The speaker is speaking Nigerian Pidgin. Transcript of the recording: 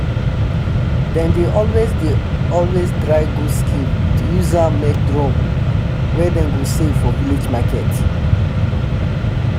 dem dey always dey always dry goat skin to use am make drum wey dem go sell for village market